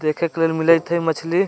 देखे के मिलइ थे मछली --